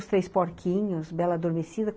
Os Três Porquinhos, Bela Adormecida.